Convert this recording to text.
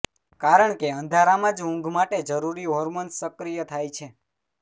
કારણ કે અંધારામાં જ ઊંઘ માટે જરૂરી હોર્મોન્સ સક્રીય થાય છે